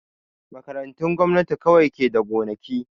Makarantun gwamnati kawai ke da gonaki